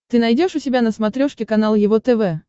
ты найдешь у себя на смотрешке канал его тв